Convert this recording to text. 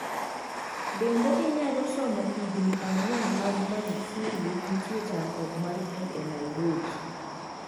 Bende inyalo somo Higni ang'wen mag Magufuli nitie chandruok mar pi e Nairobi?